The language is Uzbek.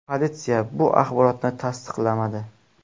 Politsiya bu axborotni tasdiqlamadi.